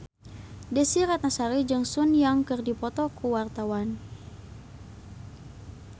Desy Ratnasari jeung Sun Yang keur dipoto ku wartawan